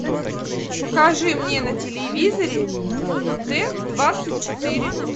покажи мне на телевизоре т двадцать четыре